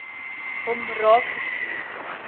hom raak geskiet